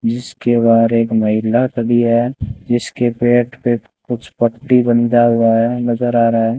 जिसके बाहर एक महिला खड़ी है जिसके पेट पे कुछ पट्टी बंधा हुआ है नजर आ रहा है।